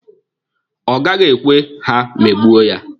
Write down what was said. Ọ gaghị ekwe ha megbuo ya.